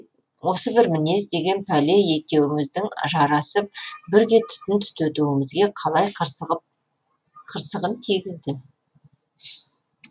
осы бір мінез деген пәле екеуміздің жарасып бірге түтін түтетуімізге қалайда қырсығын тигізді